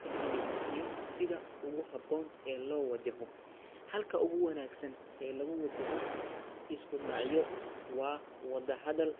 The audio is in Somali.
ka timid iyo sida ugu habboon ee loo wajaho. Xalka ugu wanaagsan ee lagu wajaho isku dhacyo waa wada hadal